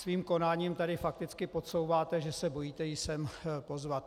Svým konáním tady fakticky podsouváte, že se bojíte ji sem pozvat.